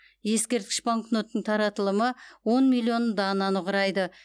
ескерткіш банкноттың таратылымы он миллион дананы құрайды